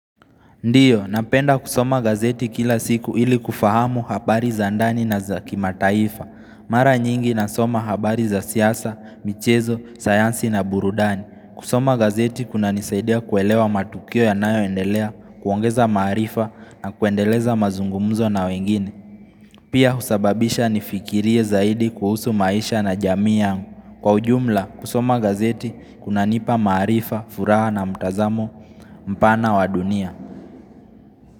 Ndiyo, napenda kusoma gazeti kila siku ili kufahamu habari za ndani na za kimataifa Mara nyingi nasoma habari za siasa, michezo, sayansi na burudani kusoma gazeti kunanisaidia kuelewa matukio yanayoendelea, kuongeza maarifa na kuendeleza mazungumuzo na wengine Pia husababisha nifikirie zaidi kuhusu maisha na jamii yangu Kwa ujumla, kusoma gazeti kunanipa maarifa, furaha na mtazamo, mpana wa dunia.